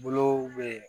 Bolow bɛ